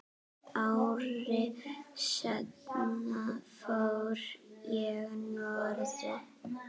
Ári seinna fór ég norður.